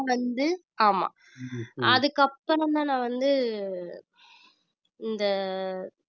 வந்து ஆமா அதுக்கு அப்புறம்தான் நான் வந்து இந்த